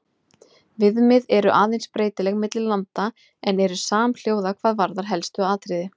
Viðmið eru aðeins breytileg milli landa en eru samhljóða hvað varðar helstu atriði.